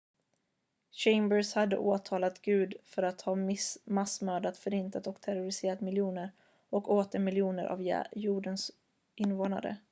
"chambers hade åtalat gud för att ha "massmördat förintat och terroriserat miljoner och åter miljoner av jordens invånare"".